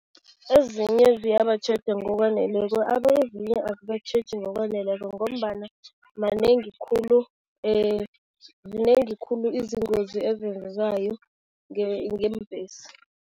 Ezinye ziyabatjheja ngokwaneleko, ezinye azibatjheji ngokwaneleko ngombana manengi khulu zinengi khulu izingozi ezenzekayo ngeembhesi.